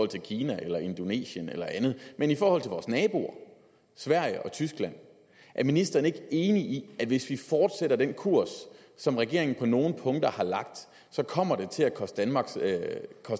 til kina eller indonesien eller andet men i forhold til vores naboer sverige og tyskland er ministeren ikke enig i at hvis vi fortsætter den kurs som regeringen på nogle punkter har lagt kommer det til at koste